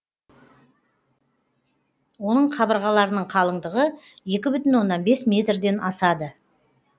оның қабырғаларының қалыңдығы екі бүтін оннан бес метрден асады